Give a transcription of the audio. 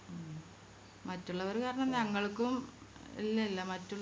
ഉം മറ്റുള്ളവര് കാരണം ഞങ്ങൾക്കും ഇല്ലല്ലാ